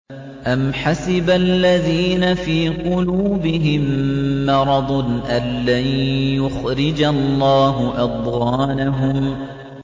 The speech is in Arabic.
أَمْ حَسِبَ الَّذِينَ فِي قُلُوبِهِم مَّرَضٌ أَن لَّن يُخْرِجَ اللَّهُ أَضْغَانَهُمْ